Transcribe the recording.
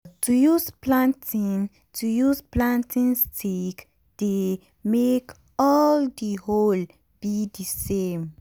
to use planting to use planting stick dey make all d hole be d same.